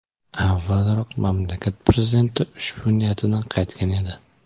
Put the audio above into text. Avvalroq mamlakat prezidenti ushbu niyatidan qaytgan edi.